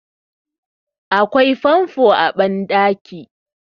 akwai famfo a bandaki